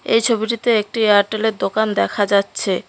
এ ছবিটিতে একটি এয়ারটেলের দোকান দেখা যাচ্ছে।